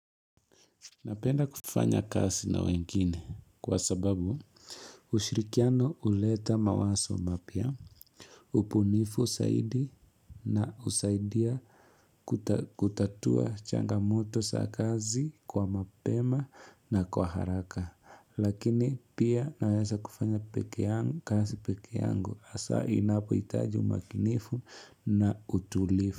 Napenda kufanya kasi na wengine kwa sababu ushirikiano uleta mawaso mapia, upunifu saidi na usaidia kutatua changamoto sa kazi kwa mapema na kwa haraka lakini pia nawesa kufanya kasi peke yangu asa inapo itaji umakinifu na utulifu.